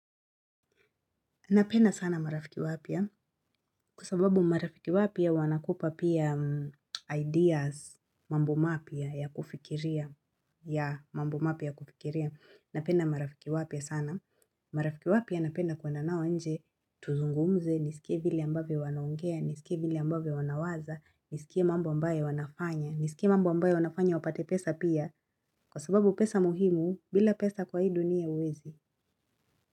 Napenda sana marafiki wapia kwa sababu marafiki wapya wanakupa pia ideas mambo mapya ya kufikiria ya mambo mapya ya kufikiria napenda marafiki wapya sana marafiki wapya napenda kuenda nao nje tuzungumze nisikie vile ambavyo wanaongea nisikie vile ambavyo wanawaza nisikie mambo ambayo wanafanya nisikie mambo ambaye wanafanya wapate pesa pia kwa sababu pesa muhimu bila pesa kwa hi dunia huwezi.